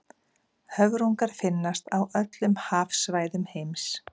höfrungar finnast á öllum hafsvæðum heims